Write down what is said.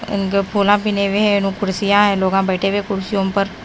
कुर्सियां है लोगा बैठे है कुर्सियों पर।